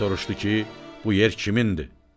Şah soruşdu ki, bu yer kimindir?